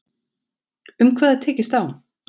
Um hvað er tekist á